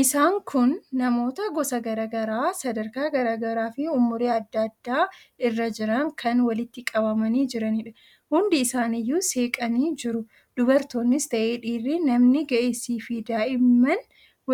Isaan kun namoota gosa garaa garaa, sadarkaa garaa garaafi umurii adda addaa irra jiran kan walitti qabamanii jiraniidha. Hundi isaaniiyyuu seeqanii jiru. Dubartoonnis ta'e dhiirri, namni ga'eessaafi daa'imman